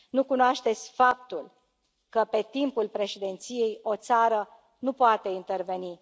Nu cunoașteți faptul că pe timpul președinției o țară nu poate interveni.